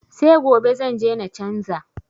Se gobe zanje na canza.